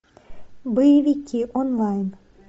боевики онлайн